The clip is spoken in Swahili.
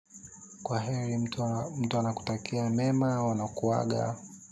Kwaheri mtu anakutakia mema au anakuaga.